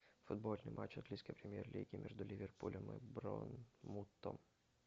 футбольный матч английской премьер лиги между ливерпулем и борнмутом